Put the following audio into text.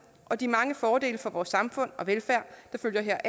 og de mange fordele for vores samfund og velfærd der følger